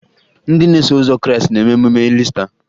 Ndị na-eso ụzọ Krịịstị na-eme emume Iista